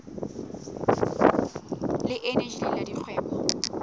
le eneji le la dikgwebo